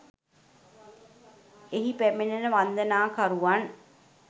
එහි පැමිණෙන වන්දනාකරුවන්